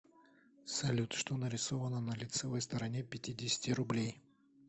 салют что нарисовано на лицевой стороне пятидесяти рублей